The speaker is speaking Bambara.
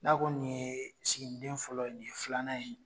N'a ko nin ye sigiden fɔlɔ ye nin ye filanan ye